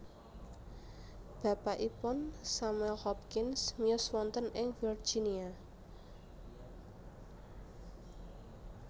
Bapakipun Samuel Hopkins miyos wonten ing Virginia